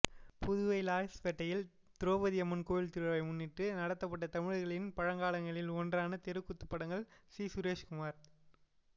புதுவை லாஸ்பேட்டையில் திரௌபதி அம்மன் கோவில் திருவிழாவை முன்னிட்டு நடத்தப்பட்ட தமிழர்களின் பழங்கலைகளில் ஒன்றான தெருக்கூத்து படங்கள் சி சுரேஷ்குமார்